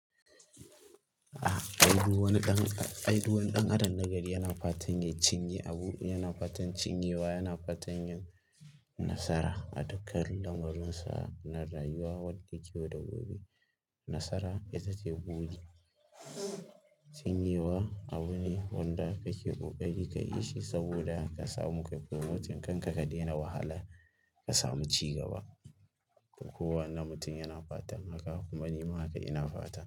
A a aidu wani ɗan, a aidu wani ɗan adon na gari yana fatan ya cinye abu, yana fatan cinye wa, yana fatan yin nasara a dukkan lamuransa na rayuwa wanda ke da gobe. Nasara ita ce buɗe, cinye wa abu ne wanda kake buƙaci ka ishi saboda ka samu ƙa'ƙo mutum kan ka ka daina wahala ka samu ci gaba. Kowa ne mutum yana fatan haka kuma ni ma haka ina fata.